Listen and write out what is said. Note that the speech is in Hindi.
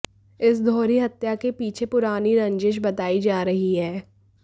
इस दोहरी हत्या के पीछे पुरानी रंजिश बतायी जा रही है